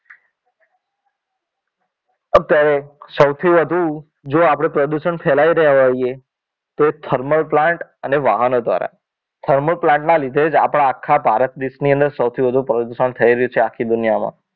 અત્યારે સૌથી વધુ જો આપણે પ્રદૂષણ ફેલાવી રહ્યા હોઈએ તો thermal plant અને વાહનો દ્વારા thermal plant ના લીધે જ આપણા આખા ભારત દેશની અંદર સૌથી વધુ પ્રદૂષણ થઈ રહ્યું છે આખી દુનિયામાં